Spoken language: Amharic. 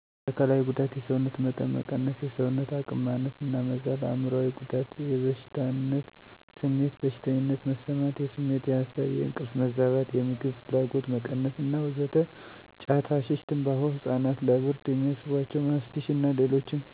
የአካላዊ ጉዳት የሰውነት መጠን መቀነስ :የሰውነት አቅም ማነስ እና መዛል አእምሮአዊ ጉዳት የበታችነት ስሜት : ብቸኝነት መሰማት : የስሜት :የሀሳብ :የእንቅልፍ መዛባት : የምግብ ፍላጎት መቀነስ እና ወዘተ ጫት :ሀሺሽ : ትምባሆ : ህፃናት ለብርድ የሚያስቧቸው ማስቲሽ እና ሌሎችም